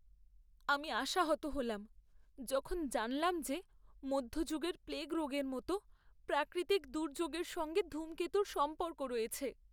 আমি আশাহত হলাম যখন জানলাম যে মধ্যযুগের প্লেগ রোগের মতো প্রাকৃতিক দুর্যোগের সঙ্গে ধূমকেতুর সম্পর্ক রয়েছে।